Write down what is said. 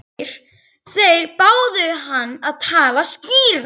Þeir báðu hann að tala skýrar.